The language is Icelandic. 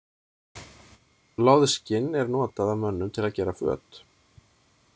Loðskinn er notað af mönnum til að gera föt.